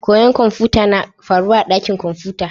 Koyon kamfuta na faruwa a dakin kamfuta.